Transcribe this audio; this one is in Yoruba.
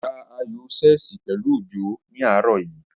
Ó ta ayò ṣẹ́ẹ̀sì pẹ̀lú Òjó ní àárọ̀ yìí